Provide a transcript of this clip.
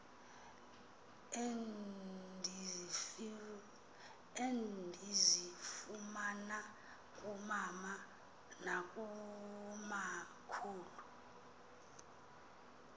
endizifumana kumama nakumakhulu